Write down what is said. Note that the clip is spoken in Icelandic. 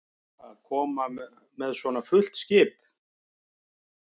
Að koma með svona fullt skip?